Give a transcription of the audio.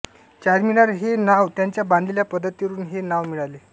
चारमीनार हे नाव त्याच्या बांधलेल्या पद्धतीवरून हे नाव मिळाले